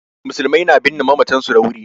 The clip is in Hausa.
Musulmai na binne mamatan su da wuri